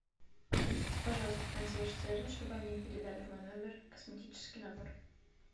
обратитесь пожалуйста в консьерж сервис чтобы они передали в мой номер косметический набор